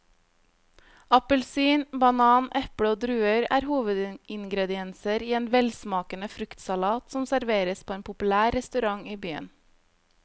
Appelsin, banan, eple og druer er hovedingredienser i en velsmakende fruktsalat som serveres på en populær restaurant i byen.